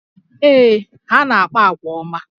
Ee, ha na-akpa àgwà ọma